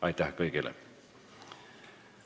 Aitäh kõigile!